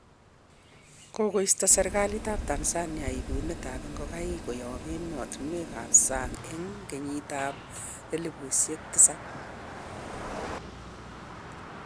Kikosto serkalit tab Tanzania ibunet tab ikogaik koyob emotunwek kap sang eng kenyitab elibushek tisab